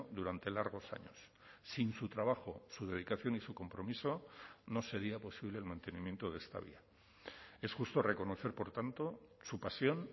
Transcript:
durante largos años sin su trabajo su dedicación y su compromiso no sería posible el mantenimiento de esta vía es justo reconocer por tanto su pasión